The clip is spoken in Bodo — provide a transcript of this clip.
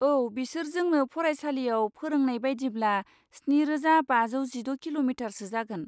औ, बिसोर जोंनो फरायसालिआव फोरोंनाय बायदिब्ला स्निरोजा बाजौ जिद' किल'मिटारसो जागोन?